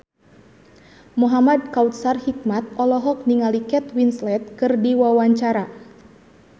Muhamad Kautsar Hikmat olohok ningali Kate Winslet keur diwawancara